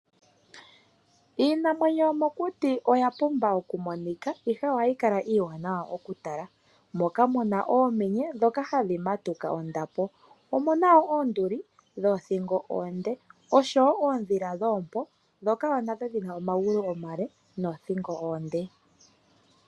Iinamwenyo yomokuti oya pumba okumonikwa, ihe ohayi kala iiwanawa okutala. Moka muna oomenye, dhoka hadhi matuka ondapo. Omuna wo oonduli dhoothingo oonde, oshowo oodhila dhoompo dhoka wo nadho dhi na omagulu omale, noothingo oonde.